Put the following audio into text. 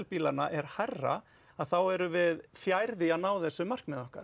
bílanna er hærra þá erum við fjær því að ná þessu markmiði okkar